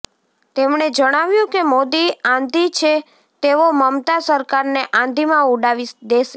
તેમણે જણાવ્યુ કે મોદી આંધી છે તેઓ મમતા સરકારને આંધીમા ઉડાવી દેશે